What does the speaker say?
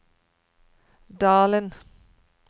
Dalen